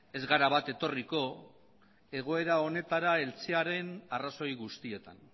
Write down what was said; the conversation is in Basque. ez gara bat etorriko egoera honetara heltzearen arrazoi guztietan